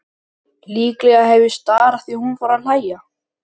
Líklega hef ég starað því hún fór að hlæja.